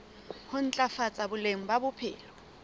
ho ntlafatsa boleng ba bophelo